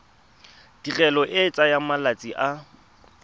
tirelo e tsaya malatsi a